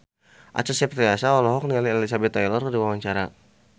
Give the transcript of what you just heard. Acha Septriasa olohok ningali Elizabeth Taylor keur diwawancara